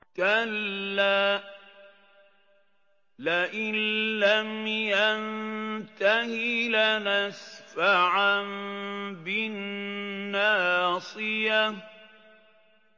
كَلَّا لَئِن لَّمْ يَنتَهِ لَنَسْفَعًا بِالنَّاصِيَةِ